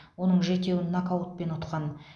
оның жетеуін нокаутпен ұтқан